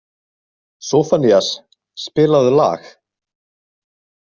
Soffanías, spilaðu lag.